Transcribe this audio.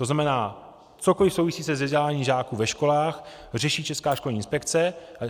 To znamená, cokoli souvisí se vzděláním žáků ve školách, řeší Česká školní inspekce.